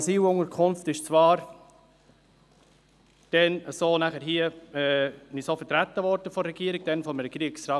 Zwar wurde diese Asylunterkunft hier damals vom Regierungsrat, von Regierungsrat Käser, so vertreten.